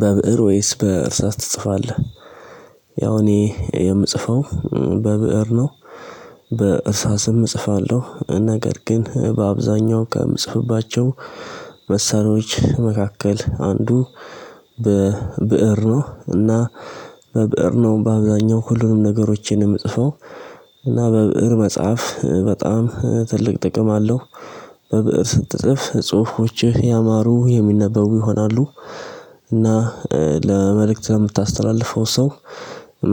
በብእር ወይስ በእርሳት ትጽፋለህ? ያው እኔ የምጽፈው በብእር ነው በእርሳ ስም እጽፋለሁ ነገር ግን በአብዛኛው ከምጽፍባቸው መሳሪዎች መካከል አንዱ በብእር ነው። እና በብእር ነው በአብዛኛው ሁሉንም ነገሮችንም እጥፎ እና በብእር መጽሐፍ በጣም ትልቅ ጥቅም አለው። በብእር ስትጽፍ ጽሁፎችህ ያማሩ የሚነበቡ ይሆናሉ። እና ለመልእክት የምታስተላልፈው ሰው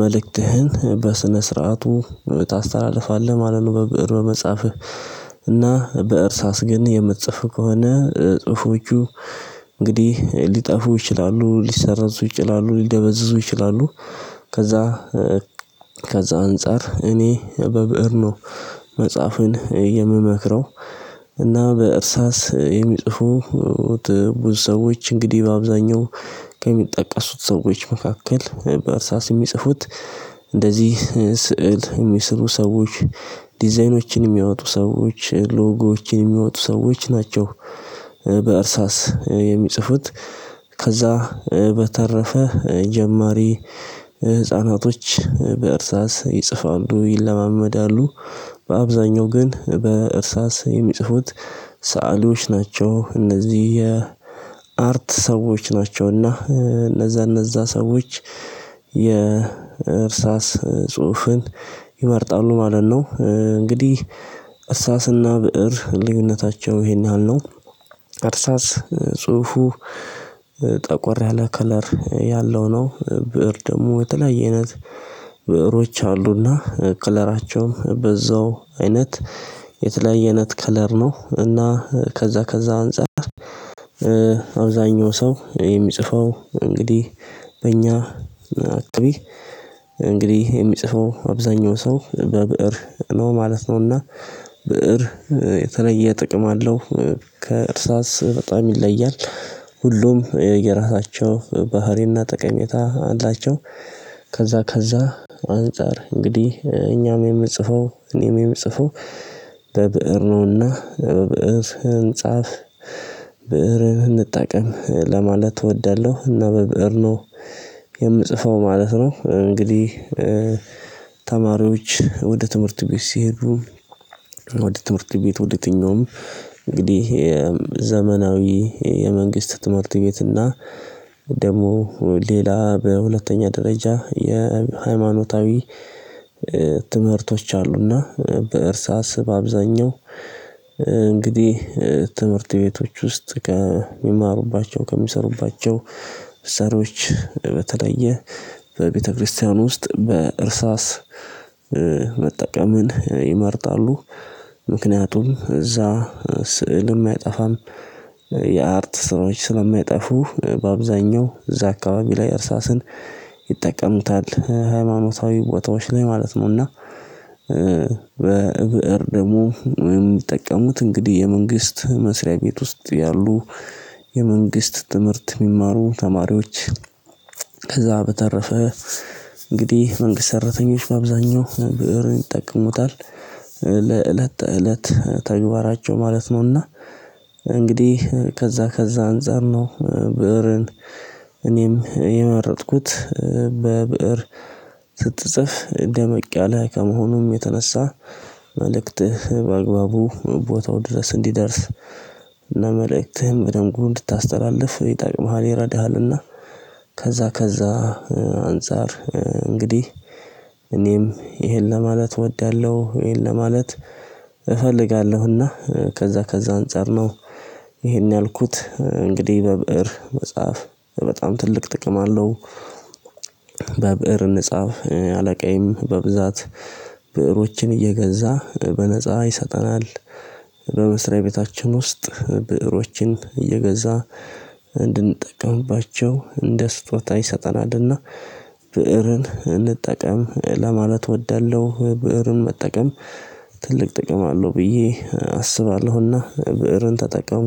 መልእክትህን በስነ ስርዓቱ ታስተላልፋለህ ማለት ነው። በብእር በመጻፍህ እና በእርሳስ ግን የምትጽፍ ከሆነ ጽሁፎቹ እንግዲህ ሊጠፉ ይችላሉ ሊሰራዙ ይችላሉ ሊደበዝዙ ይችላሉ። ከዛ ከዛ አንፃር እኔ በብእር ነው። መጽሐፍን የምመክረው እና በእርሳስ የሚጽፉት ብዙ ሰዎች እንግዲህ በአብዛኛው ከሚጠቀሱት ሰዎች መካከል በእርሳስ የሚጽፉት እንደዚህ ስዕል የሚስሩ ሰዎች ዲዛይኖችን የሚያወጡ ሰዎች ሎጎዎችን የሚያወጡ ሰዎች ናቸው። በእርሳስ የሚጽፉት ከዛ በተረፈ ጀማሪ ህፃናቶች በእርሳስ ይጽፋሉ ይለማመዳሉ። በአብዛኛው ግን በእርሳስ የሚጽፉት ሰአሊዎች ናቸው እነዚህ የአርት ሰዎች ናቸው። እና እነዛ እነዛ ሰዎች የእርሳስ ጽሁፍን ይመርጣሉ ማለት ነው። እንግዲህ እርሳስና ብእር ልዩነታቸው ይሄን ያህል ነው። እርሳስ ጽሁፉ ጠቆር ያለ ከለር ያለው ነው ብእር ደግሞ በተለያየ አይነት ብእሮች አሉና ከለራቸውም በዛው አይነት የተለየነት ከለር ነው። እና ከዛ ከዛ አንፃር አብዛኛው ሰው የሚጽፈው እንግዲህ በእኛ አክቢ እንግዲህ የሚጽፈው አብዛኛው ሰው በብእር ነው ማለት ነውና። ብእር የተለየ ጥቅም አለው። ከእርሳስ በጣም ይለያል። ሁሉም የራሳቸው ባህሪና ጠቀሜታ አላቸው። ከዛ ከዛ አንፃር እንግዲህ እኛም የምጽፈው እኔም ጽፎ ለብእር ነውና ብእር ህንፃፍ ብእርን እንጠቀም ለማለት እወዳለሁ። እና በብእር ነው የምጽፈው ማለት ነው። እንግዲህ ተማሪዎች ወደ ትምህርት ቤት ሲሄዱ። ወደ ትምህርት ቤት ወደ ትኛውም እንግዲህ ዘመናዊ የመንግስት ትምህርት ቤት እና ደግሞ ሌላ በሁለተኛ ደረጃ የሃይማኖታዊ ትምህርቶች አሉና በእርሳስ በአብዛኛው እንግዲህ ትምህርት ቤቶች ውስጥ ከሚማሩባቸው ከሚሰሩባቸው ሰሪዎች በተለየ በቤተክርስቲያን ውስጥ በእርሳስ መጠቀምን ይመርጣሉ። ምክንያቱም እዛ ስዕልም የሚያጠፋም የአርት ስራዎች ስለሚያጠፉ በአብዛኛው እዛ አካባቢ ላይ እርሳስን ይጠቀሙታል ሃይማኖታዊ ወታዎች ላይ ማለት ነው። እና በብእር ደግሞ የሚጠቀሙት እንግዲህ የመንግስት መስሪያ ቤት ውስጥ ያሉ የመንግስት ትምህርት የሚማሩ ተማሪዎች። ከዛ በተረፈ እንግዲህ መንግስት ሰራተኞች በአብዛኛው ብእር ይጠቀሙታል። ለእለት እለት ተግባራቸው ማለት ነውና። እንግዲህ ከዛ ከዛ አንፃር ነው ብእርን እኔም የመረጥኩት በብእር ስትጽፍ እደመቅ ያለ ከመሆኑም የተነሳ። መልእክት በአግባቡ ቦታው ድረስ እንዲደርስ ለመልእክትህም በደንብ እንድታስተላልፍ የጣቂ መሃል ይረዳሃልና። ከዛ ከዛ አንፃር እንግዲህ እኔም ይሄን ለማለት እወዳለሁ ይሄን ለማለት እፈልጋለሁና ከዛ ከዛ አንፃር ነው። ይሄን ያልኩት እንግዲህ በብእር መጽሐፍ በጣም ትልቅ ጥቅም አለው። በብእር ንጽህፍ አለቃዬም በብዛት ብእሮችን እየገዛ በነፃ ይሰጠናል። በመስሪያ ቤታችን ውስጥ ብእሮችን እየገዛ እንድንጠቀምባቸው እንደ ስጦታ ይሰጠናልና። ብእርን እንጠቀም ለማለት እወዳለሁ ብእርን መጠቀም ትልቅ ጥቅም አለው ብዬ አስባለሁና። ብእርን ተጠቀሙ